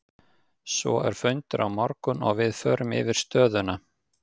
Svo er fundur á morgun og við förum yfir stöðuna.